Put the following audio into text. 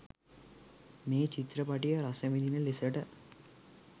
මේ චිත්‍රපටිය රසවිඳින ලෙසට